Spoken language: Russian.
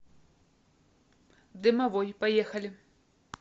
дымовой поехали